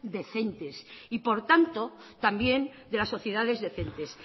decentes y por tanto también de las sociedades decentes